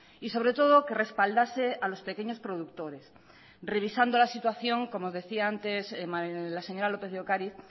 y sobre todo que respaldase a los pequeños productores revisando la situación como decía antes la señora lópez de ocáriz